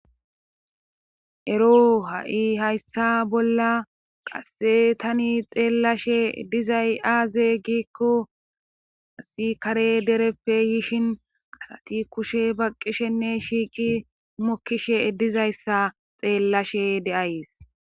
ero ha7i hayssa bolla qasse tani xeellashe dizay aaze giikko asi kare dereppe yishin asati kushe baqqishenne shiiqi mokkishe eddizayssa xeellashe deays